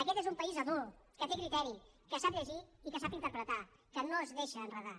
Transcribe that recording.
aquest és un país adult que té criteri que sap llegir i que sap interpretar que no es deixa enredar